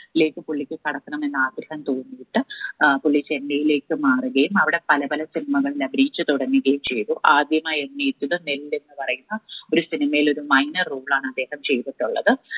ലേക്ക് പുള്ളിക്ക് കടക്കണമെന്ന് ആഗ്രഹം തോന്നിയിട്ട് ഏർ പുള്ളി ചെന്നൈയിലേക്ക് മാറുകയും അവിടെ പല പല cinema കളിൽ അഭിനയിച്ചു തുടങ്ങുകയും ചെയ്തു ആദ്യമായി അഭിനയിച്ചത് നെല്ല് എന്ന് പറയുന്ന ഒരു cinema യിൽ ഒരു minor role ആണ് അദ്ദേഹം ചെയ്തിട്ടുള്ളത്